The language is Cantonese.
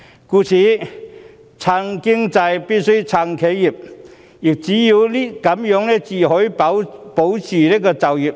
故此，挺經濟必須挺企業，這樣才能保住就業。